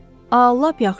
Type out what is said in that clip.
A, lap yaxşı.